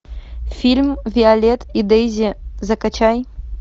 фильм виолет и дейзи закачай